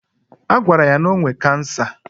Agwara ya na ọ nwe cancer